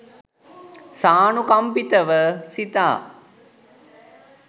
සානුකම්පිතව සිතා